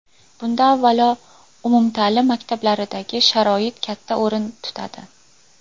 Bunda, avvalo, umumta’lim maktablaridagi sharoit katta o‘rin tutadi.